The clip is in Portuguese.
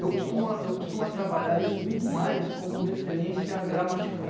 Eu costumo costumo trabalhar isso muito mais como referência gramatical.